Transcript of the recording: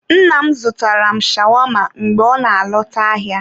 Nna m zụtara m shawama mgbe ọ na-alọta ahịa.